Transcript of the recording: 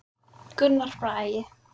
Gunnar Bragi.